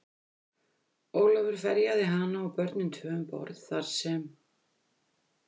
Ólafur ferjaði hana og börnin tvö um borð, þar sem